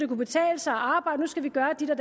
kunne betale sig at arbejde nu skal vi gøre dit og